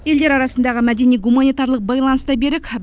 елдер арасындағы мәдени гуманитарлық байланыс та берік